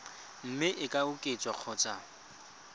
mme e ka oketswa kgotsa